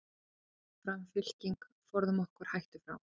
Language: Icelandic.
Fram, fram fylking, forðum okkur hættu frá.